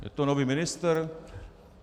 Je to nový ministr?